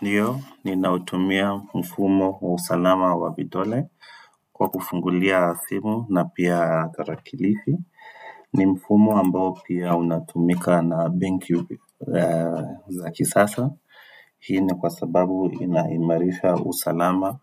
Ndio ninautumia mfumo wa usalama wa vidole kwa kufungulia simu na pia karakilishi. Ni mfumo ambao pia unatumika na benki za kisasa. Hii ni kwa sababu inaimarisha usalama